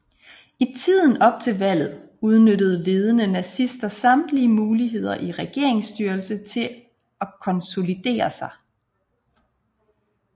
I tiden op til valget udnyttede ledende nazister samtlige muligheder i regeringsstyrelsen til at konsolidere sig